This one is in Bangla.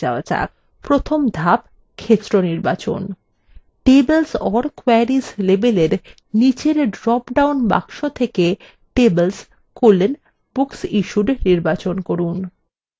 প্রথম ধাপ ক্ষেত্র নির্বাচন tables or queries label নিচের drop down box থেকে tables: booksissued নির্বাচন করুন